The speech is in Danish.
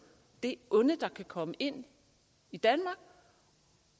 det onde der kan komme ind i danmark